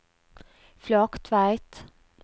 Flaktveit